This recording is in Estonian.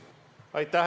Aitäh!